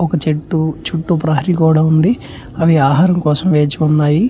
ఒక చెట్టు చుట్టూ ప్రేహారీ గోడ ఉంది. అవి ఆహారం కోసం వేచి ఉన్నాయి.